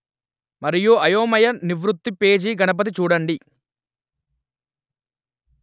మరియు అయోమయ నివృత్తి పేజీ గణపతి చూడండి